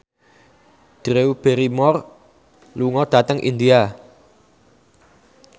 Drew Barrymore lunga dhateng India